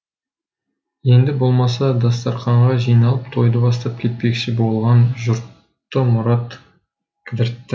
енді болмаса дастарқанға жиналып тойды бастап кетпекші болған жұртты мұрат кідіртті